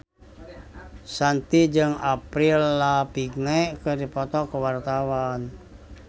Shanti jeung Avril Lavigne keur dipoto ku wartawan